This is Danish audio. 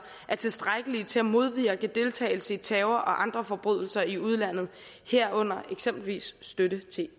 er tilstrækkelige til at modvirke deltagelse i terror og andre forbrydelser i udlandet herunder eksempelvis støtte til